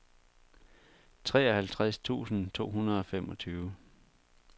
treoghalvtreds tusind to hundrede og femogtyve